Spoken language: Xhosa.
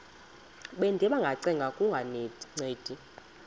bendiba ngacenga kungancedi